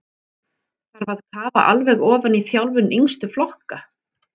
Þarf að kafa alveg ofan í þjálfun yngstu flokka?